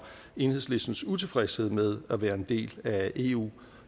enhedslistens utilfredshed med at være en del af eu